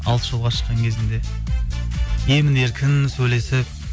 алыс жолға шыққан кезінде емін еркін сөйлесіп